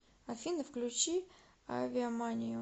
афина включи авиаманию